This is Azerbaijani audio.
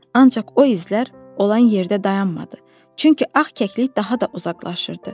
Ancaq o izlər olan yerdə dayanmadı, çünki ağ kəklik daha da uzaqlaşırdı.